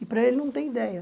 E para ele, não tem ideia.